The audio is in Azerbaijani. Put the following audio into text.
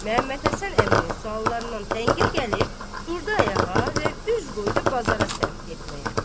Məhəmməd Həsən əminin suallarından təngə gəlib durdu ayağa və üz qoydu bazara sərf getməyə.